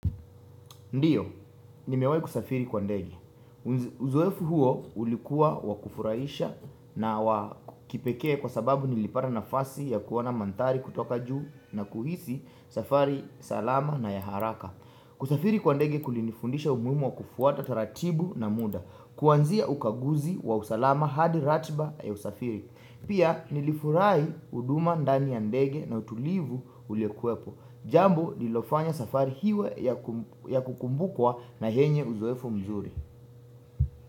Ndiyo, nimewai kusafiri kwa ndege. Uzoefu huo ulikuwa wakufurahisha na wakipekee kwa sababu nilipata nafasi ya kuona manthari kutoka juu na kuhisi safari salama na yaharaka. Kusafiri kwa ndege kulinifundisha umuhimu wa kufuata taratibu na muda. Kuanzia ukaguzi wa usalama hadi ratiba ya usafiri. Pia nilifurahi huduma ndani ya ndege na utulivu uliokuwepo Jambo lliilofanya safari iwe ya kukumbukwa na yenye uzoefu mzuri.